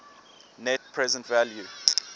net present value